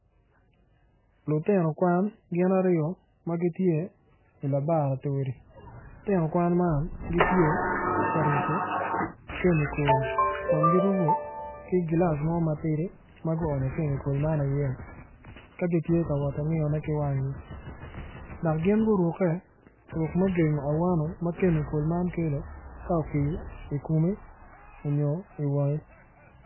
Lutino kwan gin aryo ma gitye i labaratori lutino kwan man gitye ka rubo kemikol kun girubo ki gilaci mo matidi ma guonyo kemikol iye ka gitye ka wot ki ngiyone ki wangi.